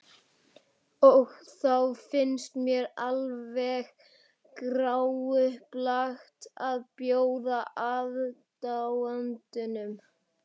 Og þá fannst mér alveg gráupplagt að bjóða aðdáandanum.